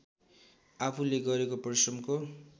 आफूले गरेको परिश्रमको